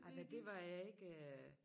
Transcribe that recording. Ej men det var jeg ikke øh